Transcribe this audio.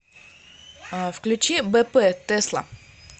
включи бэ пэ тесла